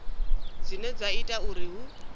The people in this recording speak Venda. dzine dza ita uri hu